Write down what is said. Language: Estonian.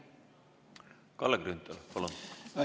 Kalle Grünthal, palun!